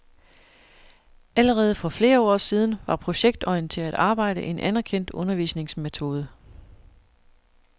Allerede for flere år siden var projektorienteret arbejde en anerkendt undervisningsmetode.